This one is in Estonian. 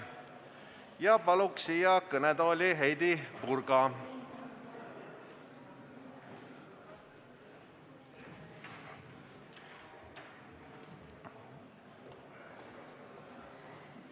Palun siia kõnetooli Heidy Purga!